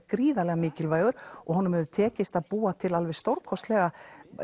gríðarlega mikilvægur og honum hefur tekist að búa til stórkostlega